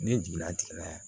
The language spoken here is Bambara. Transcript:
Ne jiginna a tigi la